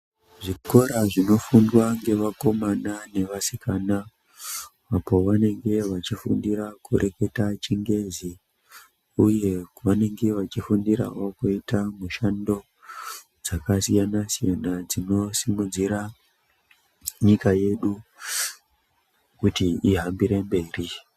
Zvikora zvinofundwa ngevakomana nevasikana apo vanenge vachifundira kureketa chingezi, uye kwavanenge vachifundirawo kuita mishando dzakasiyana-siyana dzinosimudzira nyika yedu kuti ihambire mberi.